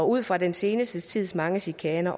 ud fra den seneste tids mange chikaner